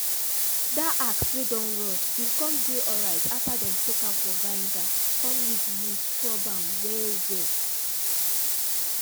that axe wey don rust been come dey alright after them soak am for vinegar come use wool scrub am well well.